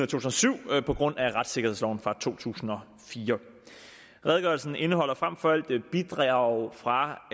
tusind og syv på grund af retssikkerhedsloven fra to tusind og fire redegørelsen indeholder frem for alt bidrag fra